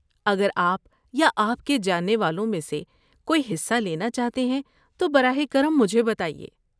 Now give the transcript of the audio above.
اگر آپ یا آپ کے جاننے والوں میں سے کوئی حصہ لینا چاہتے ہیں، تو براہ کرم مجھے بتائیے۔